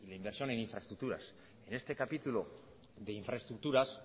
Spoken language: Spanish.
y la inversión en infraestructuras en este capítulo de infraestructuras